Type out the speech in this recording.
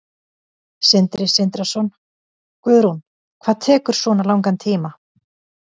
Sindri Sindrason: Guðrún, hvað tekur svona langan tíma?